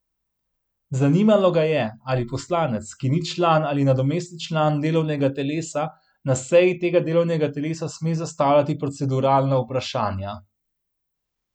Zanimalo ga je, ali poslanec, ki ni član ali nadomestni član delovnega telesa, na seji tega delovnega telesa sme zastavljati proceduralna vprašanja.